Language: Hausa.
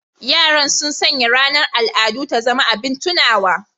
Yaran sun sanya ranar al'adu ta zama abin tunawa